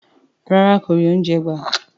Rárá kò rí oúnjẹ gbà.